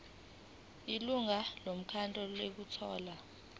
ilungu lomkhandlu elithola